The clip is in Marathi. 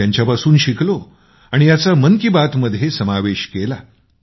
मी त्यांच्यापासून शिकलो आणि याचा मन की बातमध्ये समावेश केला